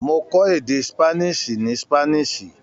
Mó kọ̀ èdè ṣípánísì ní Ṣípánísì.